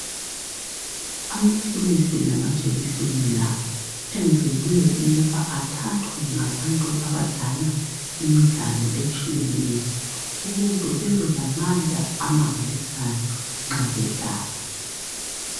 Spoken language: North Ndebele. Amaphilisi lamajekiseni la enzelwe ukuba a thathwe ngabantu abadlala imidlalo etshiyeneyo ukuze bebe lamandla amangalisayo nxa bedlala.